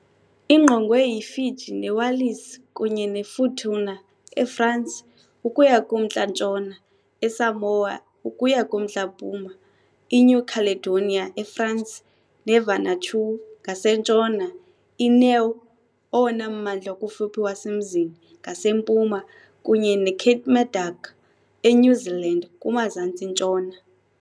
Ingqongwe yiFiji neWallis kunye neFutuna, eFransi, ukuya kumntla-ntshona, eSamoa ukuya kumntla-mpuma, INew Caledonia, eFransi, neVanuatu ngasentshona, iNiue, owona mmandla ukufuphi wasemzini, ngasempuma, kunye neKermadec, eNew Zealand, kumazantsi-ntshona.